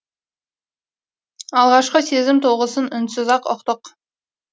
алғашқы сезім тоғысын үнсіз ақ ұқтық